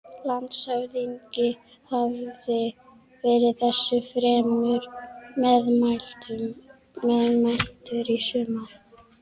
Landshöfðingi hafði verið þessu fremur meðmæltur í sumar.